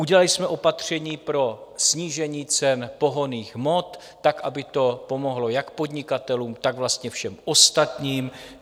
Udělali jsme opatření pro snížení cen pohonných hmot tak, aby to pomohlo jak podnikatelům, tak vlastně všem ostatním.